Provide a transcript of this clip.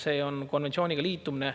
See on konventsiooniga liitumine.